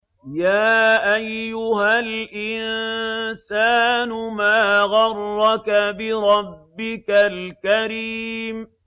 يَا أَيُّهَا الْإِنسَانُ مَا غَرَّكَ بِرَبِّكَ الْكَرِيمِ